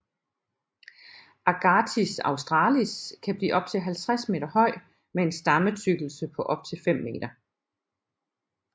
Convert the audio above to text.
Agathis australis kan blive op til 50 m høj med en stammetykkelse på op til 5 m